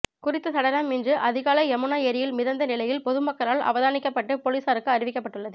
குறித்த சடலம் இன்று அதிகாலை யமுனா ஏரியில் மிதந்த நிலையில் பொதுமக்களால் அவதானிக்கப்பட்டு பொலிசாருக்கு அறிவிக்கப்பட்டுள்ளது